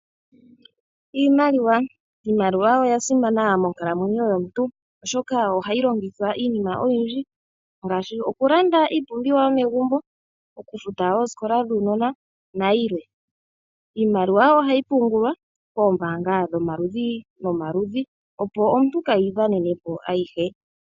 Iimaliwa, iimaliwa oya simana monkalamwenyo yomuntu, oshoka ohayi longithwa iinima oyindji ngashi oku landa iipumbiwa yo megumbo, oku futa ooskola na yilwe. Iimaliwa ohayi pungulwa koombanga dho maludhi no maludhi, opo omuntu kee yi dhanenepo ayihe.